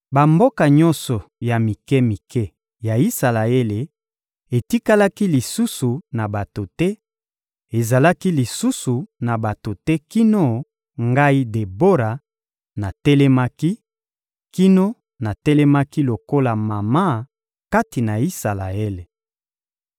Bamboka nyonso ya mike-mike ya Isalaele etikalaki lisusu na bato te, ezalaki lisusu na bato te kino ngai Debora natelemaki, kino natelemaki lokola mama kati na Isalaele.